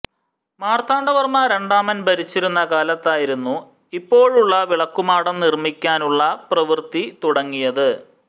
മാർത്താണ്ഡവർമ്മ രണ്ടാമൻ ഭരിച്ചിരുന്ന കാലത്തായിരുന്നു ഇപ്പോഴുള്ള വിളക്കുമാടം നിർമ്മിക്കാനുള്ള പ്രവൃത്തി തുടങ്ങിയത്